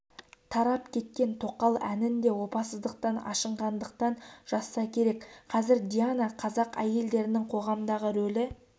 тарап кеткен тоқал әнін де опасыздықтан ашынғандықтан жазса керек қазір диана қазақ әйелдерінің қоғамдағы рөлі